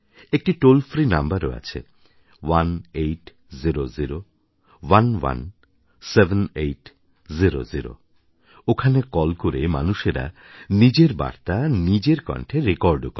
একটি toll free নাম্বারও আছে 1XXX এক্সএক্স 7800 ওখানে কল করে মানুষেরা নিজের বার্তা নিজের কন্ঠে রেকর্ডও করে